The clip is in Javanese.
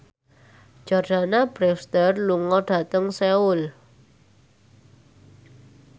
Jordana Brewster lunga dhateng Seoul